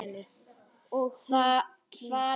Og hún kyngir.